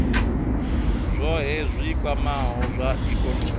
zwohe zwi kwamaho zwa ikonomi